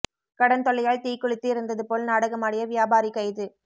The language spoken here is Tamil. கடன் தொல்லையால் தீக்குளித்து இறந்தது போல் நாடகமாடிய வியாபாரி கைது